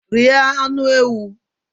Rie anụ ewu.